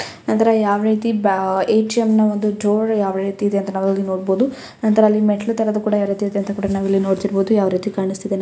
ನಂತರ ಯಾವ ರೀತಿ ಎ ಟಿ ಎಂ ನ ಡೋರ್ ಯಾವ ರೀತಿ ಇದೆ ಎಂಬುದು ನಾವು ಇಲ್ಲಿ ನೋಡಬಹುದು ನಂತರ ಮೆಟ್ಟಿಲು ತರ ಯಾವ ರೀತಿ ಇದೆ ಅಂತ ನಾವು ನೋಡಬಹುದು ಯಾವ ರೀತಿ ಕಾಣಿಸುತ್ತಿದೆ .